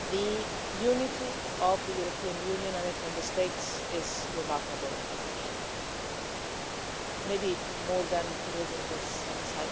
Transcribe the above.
the unity of the European Union and its Member States is remarkable on this issue, maybe more than it is in this Chamber.